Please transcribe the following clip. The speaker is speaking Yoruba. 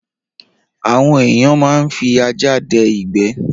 Àwọn ẹ̀èyàn máa ń fi ajá dẹ ìgbé